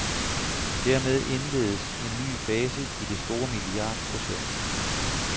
Dermed indledes en ny fase i det store milliardprojekt.